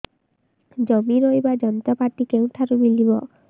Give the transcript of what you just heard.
ଜମି ରୋଇବା ଯନ୍ତ୍ରପାତି କେଉଁଠାରୁ ମିଳିବ